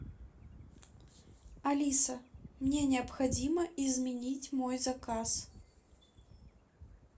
алиса мне необходимо изменить мой заказ